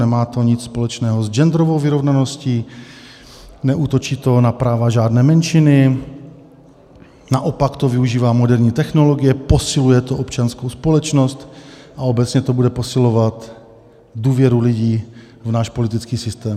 Nemá to nic společného s genderovou vyrovnaností, neútočí to na práva žádné menšiny, naopak to využívá moderní technologie, posiluje to občanskou společnost a obecně to bude posilovat důvěru lidí v náš politický systém.